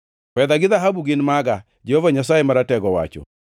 ‘Fedha gi dhahabu gin maga,’ Jehova Nyasaye Maratego owacho.